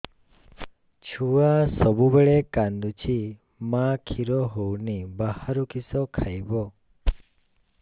ଛୁଆ ସବୁବେଳେ କାନ୍ଦୁଚି ମା ଖିର ହଉନି ବାହାରୁ କିଷ ଖାଇବ